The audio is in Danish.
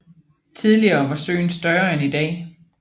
Tidligere var søen større end i dag